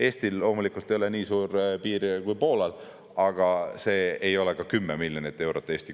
Eestil loomulikult ei ole nii piir kui Poolal, aga see Eesti kulu ei ole ka 10 miljonit eurot.